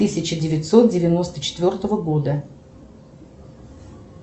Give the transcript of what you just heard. тысяча девятьсот девяносто четвертого года